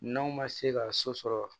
N'aw ma se ka so sɔrɔ